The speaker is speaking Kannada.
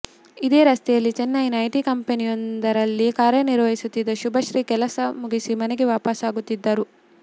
ಇದೇ ರಸ್ತೆಯಲ್ಲಿ ಚೈನೈನ ಐಟಿ ಕಂಪನಿಯೊಂದರಲ್ಲಿ ಕಾರ್ಯನಿರ್ವಹಿಸುತ್ತಿದ್ದ ಶುಭಶ್ರೀ ಕೆಲಸ ಮುಗಿಸಿ ಮನೆಗೆ ವಾಪಸ್ಸಾಗುತ್ತಿದ್ದರು